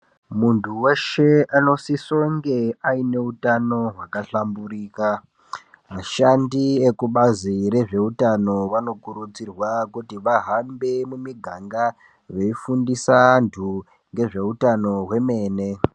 Muntu weshe anosisonge aine hutano hwakahlamburika. Ashandi ekubazi rezveutano vanokurudzirwa kuti vahambe mumiganga veifundisa antu ngezveutano hwemene.